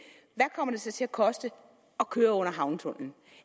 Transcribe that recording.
så til at koste at køre under havnetunnelen